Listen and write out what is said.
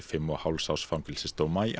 fimm og hálfs árs fangelsisdóma í